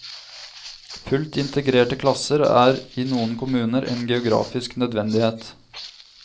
Fullt integrerte klasser er i noen kommuner en geografisk nødvendighet.